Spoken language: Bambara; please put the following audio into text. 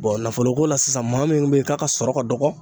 nafolo ko la sisan maa min be ye k'a ka sɔrɔ ka dɔgɔn